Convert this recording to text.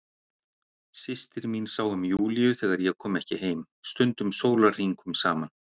Systir mín sá um Júlíu þegar ég kom ekki heim, stundum sólarhringum saman.